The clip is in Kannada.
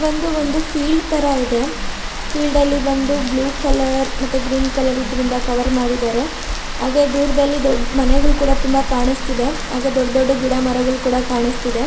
ಇದು ಒಂದು ಫೀಲ್ಡ್ ತರ ಇದೆ ಫೀಲ್ಡ್ ಅಲ್ಲಿ ಬಂದು ಬ್ಲೂ ಕಲರ್ ಮತ್ತೆ ಗ್ರೀನ್ ಕಲರಿಂದ ಕವರ್ ಮಾಡಿದ್ದಾರೆ ಹಾಗೆ ದೂರದಲ್ಲಿ ಒಂದು ದೊಡ್ಡ ಮನೆಗಳು ಕೂಡ ಕಾಣಸ್ತಿದೆ ಹಾಗೆ ದೊಡ್ಡ ದೊಡ್ಡ ಗಿಡಮರಗಳು ಕೂಡ ಕಾಣಸ್ತಿದೆ.